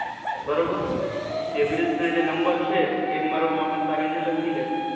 બરોબર? એ bills ના જે number છે, એ મારો માણસ આવીને લખી લેશે.